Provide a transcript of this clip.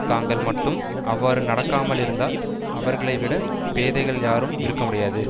தாங்கள் மட்டும் அவ்வாறு நடக்காமலிருந்தால் அவர்களைவிடப் பேதைகள் யாரும் இருக்க முடியாது